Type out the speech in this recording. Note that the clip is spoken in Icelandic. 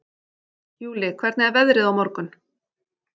Júlli, hvernig er veðrið á morgun?